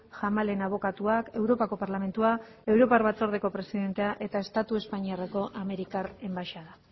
jamalen abokatuak europako parlamentua europar batzordeko presidentea eta estatu espainiarreko amerikar enbaxada